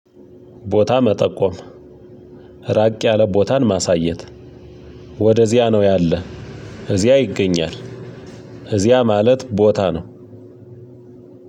ቦታ መጠቆም ራቅ ያለ ቦታን ማሳየት ወደዚያ ነው ያለ እዚያ ይገኛል እዚያ ማለት ቦታ ነው።